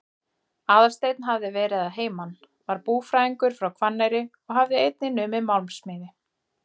Aðalsteinn hafði verið að heiman, var búfræðingur frá Hvanneyri og hafði einnig numið málmsmíði.